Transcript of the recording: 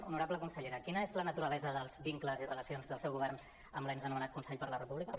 honorable consellera quina és la naturalesa dels vincles i re·lacions del seu govern amb l’ens anomenat consell per la república